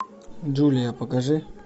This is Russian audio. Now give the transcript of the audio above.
джулия покажи